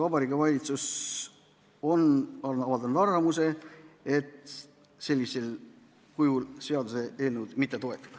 Vabariigi Valitsus on avaldanud arvamust, et sellisel kujul nad seaduseelnõu ei toeta.